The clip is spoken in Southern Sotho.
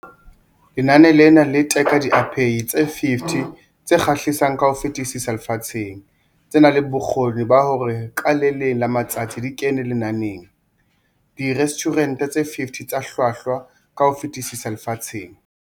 Lenane lena le teka diapehi tse 50 tse kgahlisang ka ho fetisisa lefatsheng, tse nang le bokgoni ba hore ka le leng la matsatsi di kene lenaneng la Direstjhurente tse 50 tse Hlwahlwa ka ho Fetisisa Lefatsheng.